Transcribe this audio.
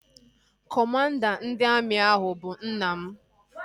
Kọmanda ndị amị ahụ bụ nna m